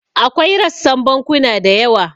Akwai rassan bankuna da yawa.